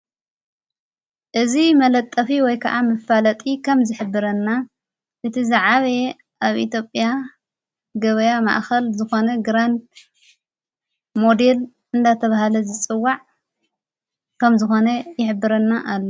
እዝ መለጠፊ ወይ ከዓ ምፋለጢ ኸም ዝኅብረና እቲ ዝዓበየ ኣብ ኢትዮጴያ ገበያ ማእኸል ዝኾነ ግራንድ ሞዲል እንዳተብሃለ ዝጽዋዕ ከም ዝኾነ ይኅብረና ኣሎ።